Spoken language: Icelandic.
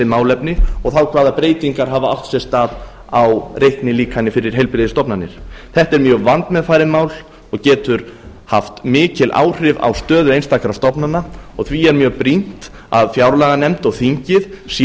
málefni og þá hvaða breytingar hafa átt sér stað á reiknilíkani fyrir heilbrigðisstofnanir þetta er mjög vandmeðfarið mál og getur haft mikil áhrif á stöðu einstakra stofnana og því er mjög brýnt að fjárlaganefnd og þingið sé